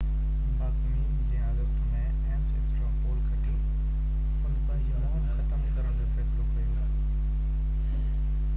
باڪمين جنهن August ۾ Ames straw poll کٽيو ان پنهنجي مهم ختم ڪرڻ جو فيصلو ڪيو